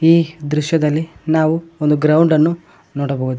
ಈ ದೃಶ್ಯದಲ್ಲಿ ನಾವು ಒಂದು ಗ್ರೌಂಡನ್ನು ನೋಡಬಹುದು.